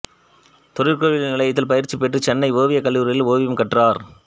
தொழிற்கல்வி நிலையத்தில் பயிற்சி பெற்று சென்னை ஓவியக் கல்லூரியில் ஓவியம் கற்றார்